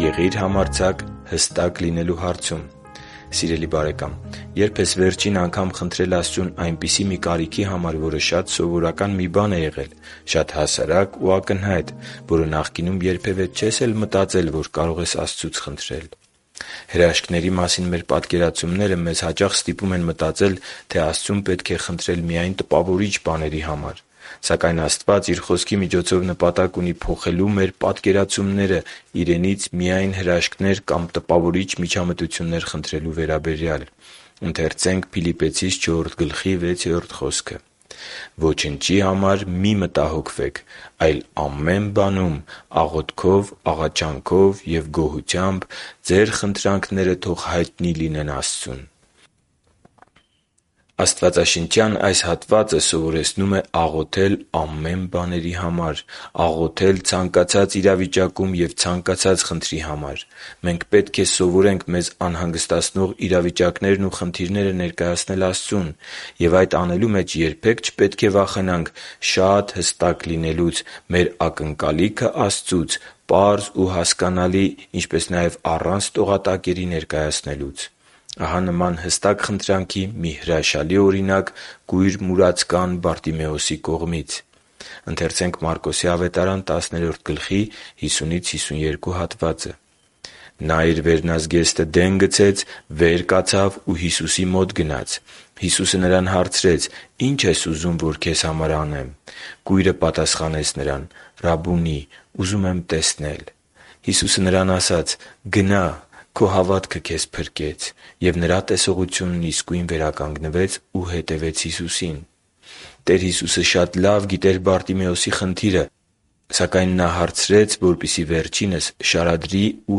Եղի՛ր համարձակ հստակ լինելու հարցում։ Սիրելի՛ բարեկամ, ե՞րբ ես վերջին անգամ խնդրել Աստծուն այնպիսի մի կարիքի համար, որը շատ սովորական մի բան է եղել, շատ հասարակ ու ակնհայտ, որը նախկինում երբևէ չես էլ մտածել, որ կարող ես Աստծուց խնդրել։ Հրաշքների մասին մեր պատկերացումները մեզ հաճախ ստիպում են մտածել, թե Աստծուն պետք է խնդրել միայն տպավորիչ բաների համար։ Սակայն Աստված Իր Խոսքի միջոցով նպատակ ունի փոխելու մեր պատկերացումները Իրենից միայն հրաշքներ կամ տպավորիչ միջամտություններ խնդրելու վերաբերյալ․ «Ոչնչի համար մի՛ մտահոգվեք, այլ ամեն բանում աղոթքով, աղաչանքով և գոհությամբ՝ ձեր խնդրանքները թող հայտնի լինեն Աստծուն» (Փիլիպպեցիս 4․6)։ Աղոթել ամեն բաների համար… Աղոթել ցանկացած իրավիճակում և ցանկացած խնդրի համար․․․ Մենք պետք է սովորենք մեզ անհանգստացնող իրավիճակներն ու խնդիրները ներկայացնել Աստծուն։ Եվ այդ անելու մեջ երբե՛ք չպետք է վախենանք շատ հստակ լինելուց՝ մեր ակնկալիքը Աստծուց պարզ ու հասկանալի, ինչպես նաև առանց տողատակերի ներկայացնելուց։ Ահա նման հստակ խնդրանքի մի հրաշալի օրինակ կույր մուրացկան Բարտիմեոսի կողմից. «Նա իր վերնազգեստը դեն գցեց, վեր կացավ ու Հիսուսի մոտ եկավ։ Հիսուսը նրան հարցրեց. «Ի՞նչ ես ուզում, որ քեզ համար անեմ»։ Կույրը պատասխանեց Նրան. «Ռաբբո՛ւնի, ուզում եմ տեսնել»։ Հիսուսը նրան ասաց. «Գնա՛, քո հավատը քեզ փրկեց»։ Եվ նրա տեսողությունն իսկույն վերականգնվեց, ու հետևեց Հիսուսին» (Մարկոս 10․50-52)։ Տեր Հիսուսը շատ լավ գիտեր Բարտիմեոսի խնդիրը, սակայն Նա հարցրեց, որպեսզի վերջինիս շարադրի ու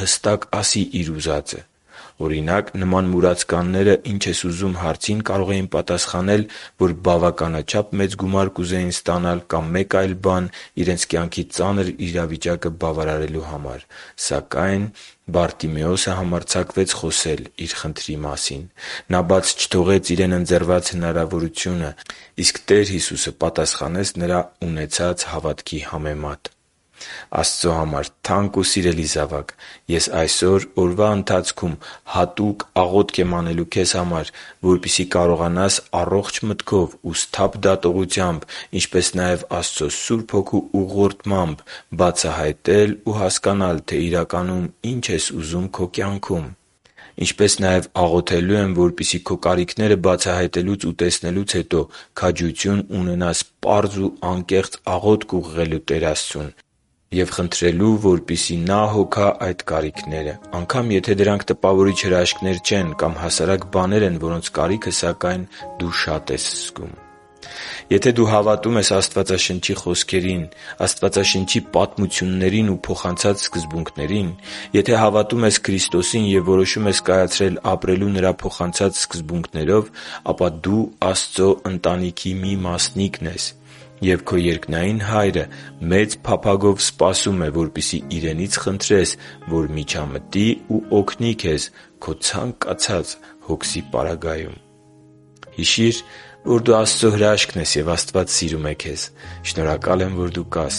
հստակ ասի իր ուզածը։ Օրինակ, նման մուրացկանները «Ի՞նչ ես ուզում․․․» հարցին, կարող են պատասխանել, որ բավականաչափ մեծ գումար կուզեին ստանալ կամ մեկ այլ բան իրենց կյանքի ծանր իրավիճակը բարելավելու համար։ Սակայն․․․ - Բարտիմեոսը համարձակվեց խոսել իր խնդրի մասին… - Նա բաց չթողեց իրեն ընձեռված հնարավորությունը․․․ - Իսկ Տեր Հիսուսը պատասխանեց նրան ունեցած հավատքի համեմատ։ Աստծո համար թանկ ու սիրելի՛ զավակ, ես այսօր օրվա ընթացքում հատուկ աղոթք եմ անելու քեզ համար, որպեսզի կարողանաս առողջ մտքով ու սթափ դատողությամբ, ինչպես նաև Աստծո Սուրբ Հոգու ուղղորդմամբ բացահայտել ու հասկանալ, թե իրականում ի՞նչ ես ուզում քո կյանքում։ Ինչպես նաև աղոթելու եմ, որպեսզի քո կարիքները բացահայտելուց ու տեսնելուց հետո քաջություն ունենաս պարզ ու անկեղծ աղոթք ուղղելու Տեր Աստծուն և խնդրելու, որպեսզի Նա հոգա քո այդ կարիքները, անգամ եթե դրանք տպավորիչ հրաշքներ չեն կամ հասարակ բաներ են, որոնց կարիքը, սակայն, դու շատ ես զգում։ Եթե դու հավատում ես Աստվածաշնչի խոսքերին, պատմություններին ու փոխանցած սկզբունքներին․․․ Եթե հավատում ես Քրիստոսին և որոշում ես կայացրել ապրելու Նրա փոխանցած սկզբուքներով, ապա դու Աստծո ընտանիքի մի մասնիկն ես։ Եվ քո երկնային Հայրը մեծ փափագով սպասում է, որպեսզի Իրենից խնդրես, որ միջամտի ու օգնի քեզ քո ցանկացած հոգսի պարագայում։ Հիշի՛ր, որ դու Աստծո հրաշքն ես, և Աստված սիրում է քեզ։ Շնորհակալ եմ, որ դու կա՛ս